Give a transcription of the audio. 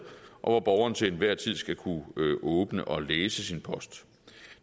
og hvor borgeren til enhver tid skal kunne åbne og læse sin post